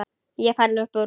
Ég er farinn upp úr.